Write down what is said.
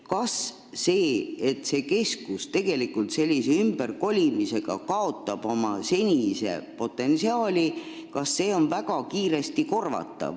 Kas seda, et see keskus tegelikult kaotab sellise ümberkolimisega oma senise potentsiaali, saab väga kiiresti korvata?